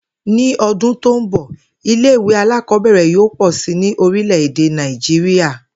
Ní o̩dún tó ń bò̩, ilé ìwé alákò̩ó̩bè̩rè̩ yóò pò̩ si ní orílè̩-èdè Nàìjíríà